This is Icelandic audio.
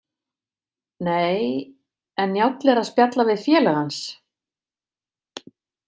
Nei, en Njáll er að spjalla við félaga hans.